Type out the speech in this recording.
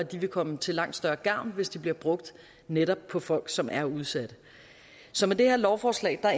vil komme til langt større gavn hvis de bliver brugt netop på folk som er udsatte så med det her lovforslag